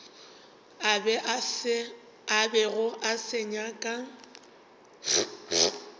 a bego a se nyaka